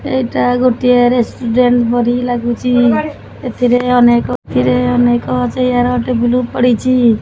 ଏଇଟା ଗୋଟିଏ ରେସିଡେଣ୍ଟ ପରି ଲାଗୁଚି ଏଥି ରେ ଅନେକ ଥିରେ ରେ ଅନେକ ଚେୟାର ଟେବୁଲ୍ ପଡିଚି।